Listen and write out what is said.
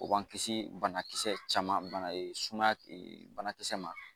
O b'an kisi bana kisɛ caman bana suma banakisɛ ma